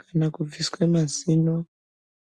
kana kubviswe mazino.